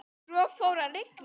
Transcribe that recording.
Svo fór að rigna.